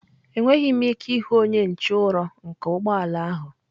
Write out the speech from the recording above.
Enweghị m ike ịhụ onye nche ụrọ nke ụgbọ ala ahụ.